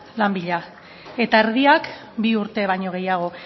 lan bila eta erdiak bi urte baino gehiago